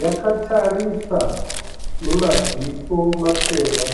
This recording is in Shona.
Yakatarisa nemaziso matema.